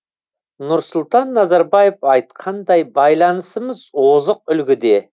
нұрсұлтан назарбаев айтқандай байланысымыз озық үлгіде